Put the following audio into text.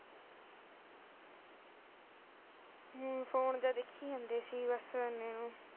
ਹਮ phone ਜਿਹਾ ਦੇਖੀ ਜਾਂਦੇ ਸੀ ਬਸ ਐੇ ਨੂੰ